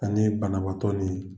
Ani banabaatɔ ni